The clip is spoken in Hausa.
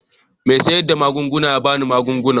Mai sayar da magunguna ya ba ni magungunan.